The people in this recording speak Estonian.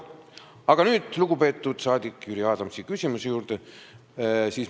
Aga nüüd lugupeetud rahvasaadiku Jüri Adamsi küsimuse juurde.